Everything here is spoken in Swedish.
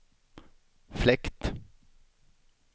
fläkt